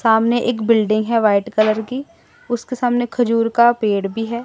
सामने एक बिल्डिंग है व्हाइट कलर की उसके सामने खजूर का पेड़ भी है।